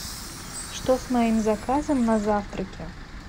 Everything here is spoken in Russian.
что с моим заказом на завтраке